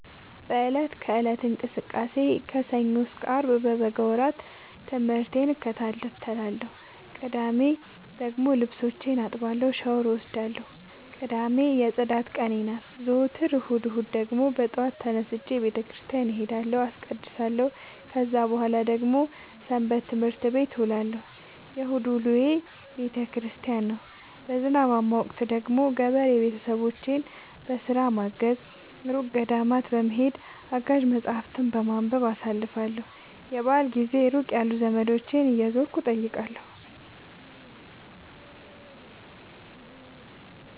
በእለት ከእለት እንቅስቃሴዬ ከሰኞ እስከ አርብ በበጋ ወራት ትምህርቴን እከታተላለሁ። ቅዳሜ ደግሞ ልብሶቼን አጥባለሁ ሻውር እወስዳለሁ ቅዳሜ የፅዳት ቀኔ ናት። ዘወትር እሁድ እሁድ ደግሞ በጠዋት ተነስቼ በተክርስቲያን እሄዳለሁ አስቀድሳሁ። ከዛ በኃላ ደግሞ ሰበትምህርት ቤት እውላለሁ የእሁድ ውሎዬ ቤተክርስቲያን ነው። በዝናባማ ወቅት ደግሞ ገበሬ ቤተሰቦቼን በስራ በማገ፤ እሩቅ ገዳማት በመሄድ፤ አጋዥ መፀሀፍትን በማንበብ አሳልፍለሁ። የበአል ጊዜ ሩቅ ያሉ ዘመዶቼን እየዞርኩ እጠይቃለሁ።